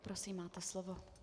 Prosím, máte slovo.